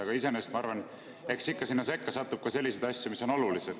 Aga iseenesest ma arvan, et eks ikka sinna sekka satub ka selliseid asju, mis on olulised.